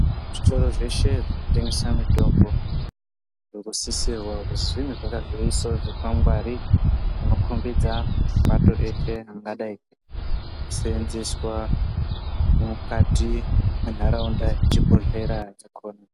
Zvitoro zveshe zvinotengesa mitombo zvakasisirwa kuti zvinge zvakaisawo zvikwangwari, zvinokhombidza pato reshe ringadai richiseenzeswa mukati mwenharaunda yechibhodhlera chakhona.